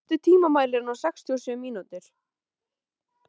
Alma, stilltu tímamælinn á sextíu og sjö mínútur.